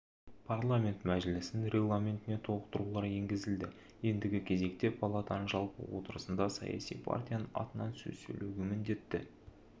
парламент мәжілісінің регламентіне толықтырулар енгізілді ендігі кезекте палатаның жалпы отырысында саяси партияның атынан сөз сөйлеуге міндетті